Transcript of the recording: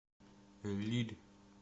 лилль